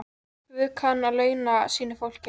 Guð kann að launa sínu fólki.